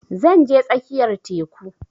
Zan je tsakiyar teku